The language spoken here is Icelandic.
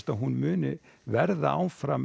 að hún muni verða áfram